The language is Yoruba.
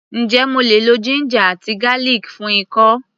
Ǹjé mo lè lo ginger àti garlic fún ikọ́?